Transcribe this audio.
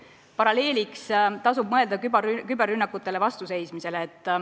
Paralleelina tuleks mõelda küberrünnakutele vastuseismisele.